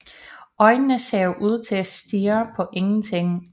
Øjnene ser ud til at stirre på ingenting